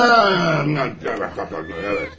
Ha, anlatıyordunuz, evet.